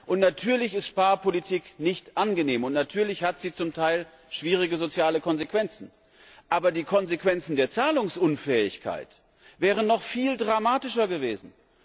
Und natürlich ist Sparpolitik nicht angenehm, und natürlich hat sie zum Teil schwierige soziale Konsequenzen, aber die Konsequenzen der Zahlungsunfähigkeit wären noch viel dramatischer gewesen!